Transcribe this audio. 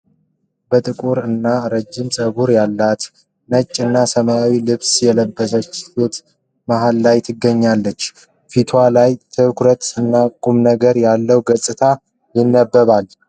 በጥቁር እና ረጅም ፀጉር ያላት፣ ነጭ እና ሰማያዊ ልብስ የለበሰች ሴት መሃል ላይ ትገኛለች። ፊቷ ላይ ትኩረት እና ቁምነገር ያለው አገላለጽ ይነበባል።